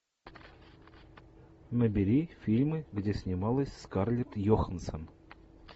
набери фильмы где снималась скарлетт йоханссон